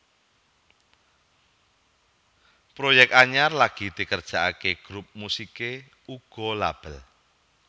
Proyek anyar lagi dikerjakaké grup musiké uga label